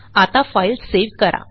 आता file save करा